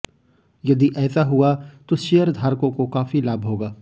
यदि ऐसा हुआ तो शेयरधारकों को काफी लाभ होगा